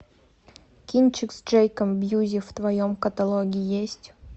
кинчик с джейком бьюзи в твоем каталоге есть